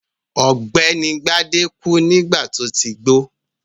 Ọ̀gbẹ́ni Gbadé kú nígbà tó ti gbó.